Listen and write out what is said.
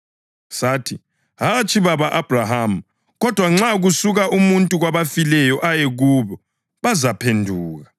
Sathi, ‘Hatshi, baba Abhrahama, kodwa nxa kusuka umuntu kwabafileyo aye kubo bazaphenduka.’